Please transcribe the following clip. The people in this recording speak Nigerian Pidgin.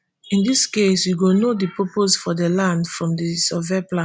in dis case you go know di purpose for di land from di survey plan